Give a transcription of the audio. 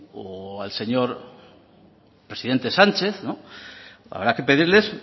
o al señor presidente sánchez habrá que pedirles